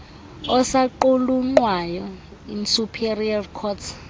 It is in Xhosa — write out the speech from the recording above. osaqulunqwayo isuperior courts